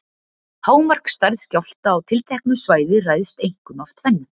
Hámarksstærð skjálfta á tilteknu svæði ræðst einkum af tvennu.